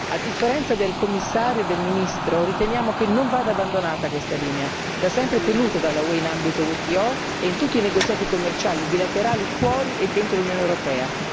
A differenza del Commissario e del Ministro, riteniamo che non vada abbandonata questa linea, da sempre tenuta dall'UE in ambito WTO e in tutti i negoziati commerciali bilaterali fuori e dentro l'Unione europea.